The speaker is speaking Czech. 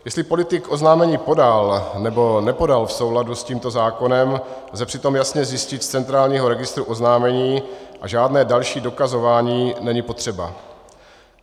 Jestli politik oznámení podal, nebo nepodal v souladu s tímto zákonem, lze přitom jasně zjistit z centrálního registru oznámení a žádné další dokazování není potřeba.